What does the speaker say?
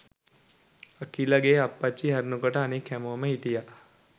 අකිලගේ අප්පච්චි හැරුණු කොට අනෙක් හැමෝම හිටියා